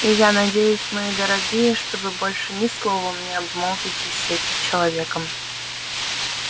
и я надеюсь мои дорогие что вы больше ни словом не обмолвитесь с этим человеком